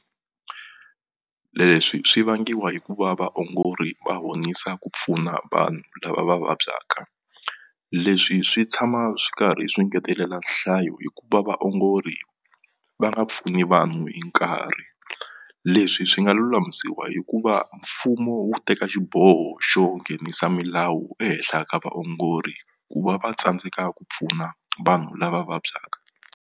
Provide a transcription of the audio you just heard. Leswi swi vangiwa hi ku va vaongori va honisa ku pfuna vanhu lava va vabyaka leswi swi tshama swi karhi swi ngetelela nhlayo hikuva vaongori va nga pfuni vanhu hi nkarhi leswi swi nga lulamisiwa hikuva mfumo wu teka xiboho xo nghenisa milawu ehenhla ka vaongori ku va va tsandzeka ku pfuna vanhu lava vabyaka.